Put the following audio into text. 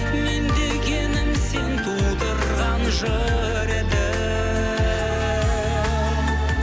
мен дегенім сен тудырған жыр едің